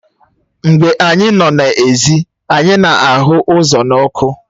Mgbe anyị nọ n'èzí anyị na-aghu azụ̀ n'ọkụ